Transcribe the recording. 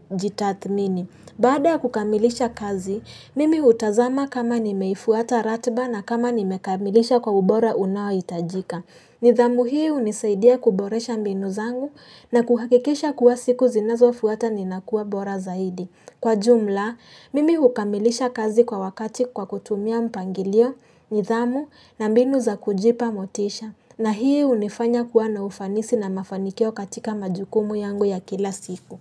kujitathmini. Baada ya kukamilisha kazi, mimi hutazama kama nimeifuata ratiba na kama nimekamilisha kwa ubora unao hitajika. Nidhamu hii hunisaidia kuboresha mbinu zangu na kuhakikisha kuwa siku zinazo fuata ninakuwa bora zaidi. Kwa jumla, mimi hukamilisha kazi kwa wakati kwa kutumia mpangilio, nidhamu na mbinu za kujipa motisha. Na hii hunifanya kuwa na ufanisi na mafanikio katika majukumu yangu ya kila siku.